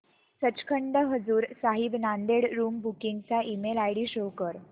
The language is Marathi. सचखंड हजूर साहिब नांदेड़ रूम बुकिंग चा ईमेल आयडी शो कर